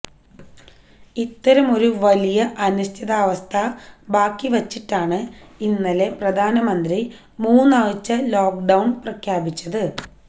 ഇത്തരമൊരു വലിയ അനിശ്ചിതാവസ്ഥ ബാക്കി വച്ചിട്ടാണ് ഇന്നലെ പ്രധാനമന്ത്രി മൂന്നാഴ്ചത്തെ ലോക്ഡൌണ് പ്രഖ്യാപിച്ചത്